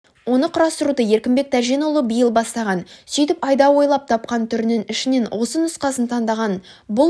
оны құрастыруды еркінбек тәженұлы биыл бастаған сөйтіп айда ойлап тапқан түрінің ішінен осы нұсқасын таңдаған бұл